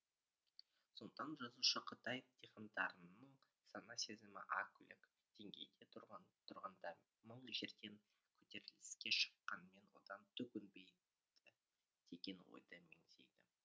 сондықтан жазушы қытай дихандарының сана сезімі а кюлік деңгейде тұрғанда мың жерден көтеріліске шыққанмен одан түк өнбейді деген ойды меңзейді